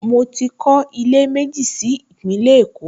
Mo ti kọ́ ilé méjì sí Ìpínlẹ̀ Èkó